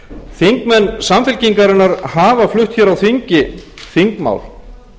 þingmenn samfylkingarinnar hafa flutt hér á þingi þingmál